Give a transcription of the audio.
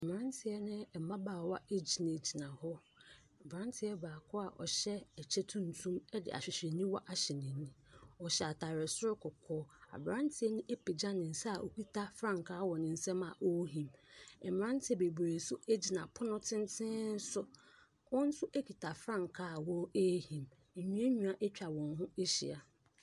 Mmeranteɛ ne mmabaawa gyinagyina hɔ. Aberanteɛ baako a ɔhyɛ ɛkyɛ tuntum de ɛhwehwɛniwa ahyɛ n'ani. Ɔhyɛ atadeɛ soro kɔkɔɔ. Aberanteɛ no apagya ne nsa a ɔkita frankaa wɔ ne nsam a ɔrehum. Mmeranteɛ bebree nso gyina pono tenten so. Wɔn nso kita frankaa a wɔrehim. Nnuannua atwa wɔn ho ahyia.